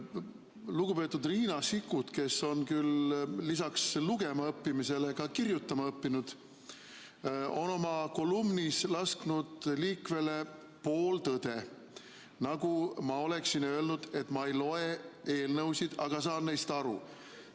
Lugupeetud Riina Sikkut, kes on küll lisaks lugema õppimisele ka kirjutama õppinud, on oma kolumnis lasknud liikvele pooltõe, nagu ma oleksin öelnud, et ma ei loe eelnõusid, aga saan neist aru.